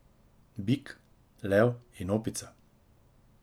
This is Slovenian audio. Bik, lev in opica.